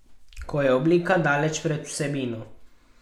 Ko je oblika daleč pred vsebino.